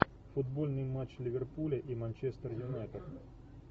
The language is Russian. футбольный матч ливерпуля и манчестер юнайтед